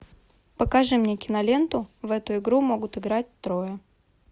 покажи мне киноленту в эту игру могут играть трое